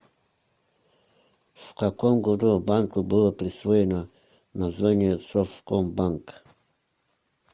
в каком году банку было присвоено название совкомбанк